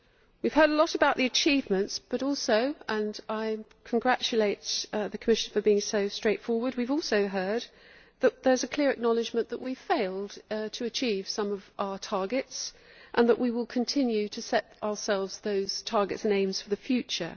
We have heard much about the achievements but, and I congratulate the Commissioner for being so straightforward, we have also heard that there is a clear acknowledgement that we have failed to achieve some of our targets and that we will continue to set ourselves those targets and aims for the future.